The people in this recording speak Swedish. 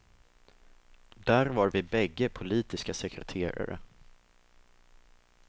Där var vi bägge politiska sekreterare.